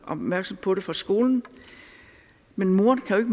opmærksom på det fra skolen men moren kan jo